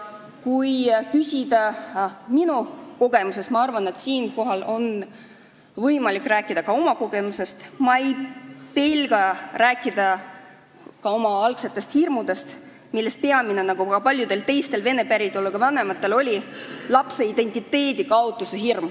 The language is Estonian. Kui rääkida oma kogemuse põhjal – ma arvan, et siinkohal on võimalik rääkida ka oma kogemusest –, siis ma ei pelga rääkida oma algsetest hirmudest, millest peamine oli nagu paljudel teistel vene päritoluga vanematel hirm lapse identiteedi kaotamise ees.